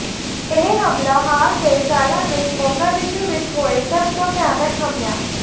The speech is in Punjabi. ਇਹ ਹਮਲਾ ਹਾਲ ਦੇ ਸਾਲਾਂ ਵਿੱਚ ਮੋਗਾਦਿਸ਼ੂ ਵਿੱਚ ਹੋਏ ਸਭ ਤੋਂ ਭਿਆਨਕ ਹਮਲਿਆਂ